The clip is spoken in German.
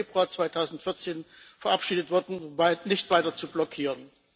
5. Februar 2014 verabschiedet wurde, nicht weiter zu blockieren.